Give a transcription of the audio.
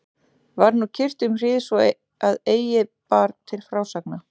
Var nú kyrrt um hríð svo að eigi bar til frásagna.